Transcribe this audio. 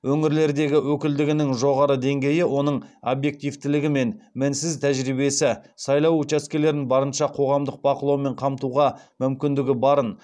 өңірлердегі өкілділігінің жоғары деңгейі оның объективтілігі мен мінсіз тәжірибесі сайлау учаскелерін барынша қоғамдық бақылаумен қамтуға мүмкіндігі барын